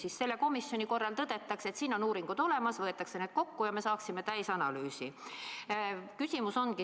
Siis selle komisjoni korral tõdetakse, et siin on uuringud olemas, võetakse need kokku ja me saaksime täisanalüüsi.